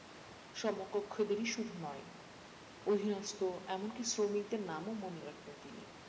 সমকক্ষদেরই শুধু নয় অধীনস্ত এমন কি শ্রমিকদের নামও মনে রাখতেন তিনি